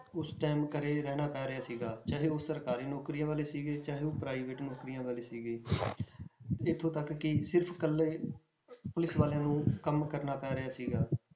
ਉਸ time ਘਰੇ ਰਹਿਣਾ ਪੈ ਰਿਹਾ ਸੀਗਾ, ਚਾਹੇ ਉਹ ਸਰਕਾਰੀ ਨੌਕਰੀਆਂ ਵਾਲੇ ਸੀਗੇ ਚਾਹੇ ਉਹ private ਨੌਕਰੀਆਂ ਵਾਲੇ ਸੀਗੇ ਇੱਥੋਂ ਤੱਕ ਕਿ ਸਿਰਫ਼ ਇੱਕਲੇ ਪੁਲਿਸ ਵਾਲਿਆਂ ਨੂੰ ਕੰਮ ਕਰਨਾ ਪੈ ਰਿਹਾ ਸੀਗਾ